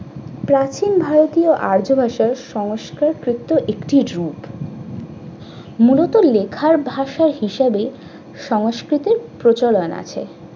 প্রাচীন ভারতীয় আর্য ভাষায় সংস্কারকৃত একটি রূপ। মূলত লেখার ভাষা হিসাবে সংস্কৃতর প্রচলন আছে।